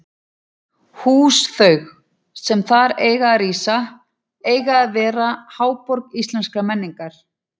Hús þau, sem þar eiga að rísa, eiga að verða háborg íslenskrar menningar!